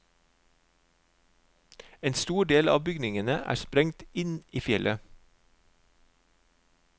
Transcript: En stor del av bygningene er sprengt inn i fjellet.